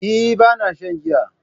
Eh, Bana shan giya